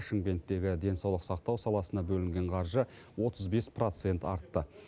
шымкенттегі денсаулық сақтау саласына бөлінген қаржы отыз бес процент артты